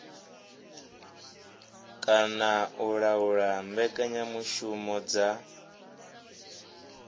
kana u laula mbekanyamushumo dza